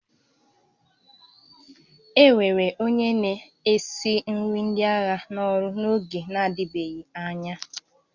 E were onye na-esi nri ndị agha n'ọrụ n'oge na-adịbeghị anya